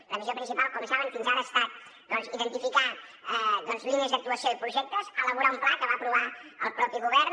la missió principal com saben fins ara ha estat doncs identificar línies d’actuació i projectes elaborar un pla que va aprovar el mateix govern